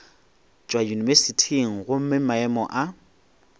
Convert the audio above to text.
tšwa yunibesithing gomme maemo a